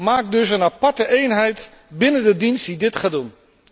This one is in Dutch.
Maak dus een aparte eenheid binnen de dienst die dit gaat doen.